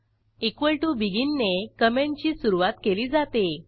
equal to begin ने कॉमेंटची सुरूवात केली जाते